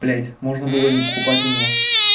блядь можно было и не покупать у него